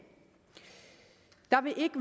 der vil ikke